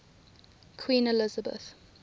queen elizabeth